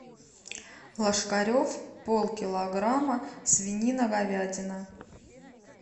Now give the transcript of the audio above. ложкарев полкилограмма свинина говядина